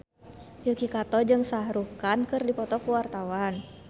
Yuki Kato jeung Shah Rukh Khan keur dipoto ku wartawan